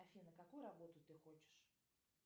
афина какую работу ты хочешь